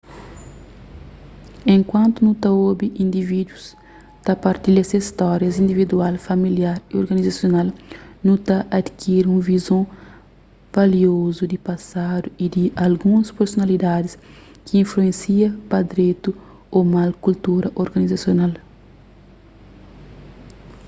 enkuantu nu ta obi individus ta partilha ses stórias individual familiar y organizasional nu ta adikiri un vizon valiozu di pasadu y di alguns personalidadis ki influensia pa dretu ô mal kultura organizasional